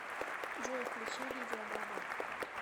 джой включи лидия бабл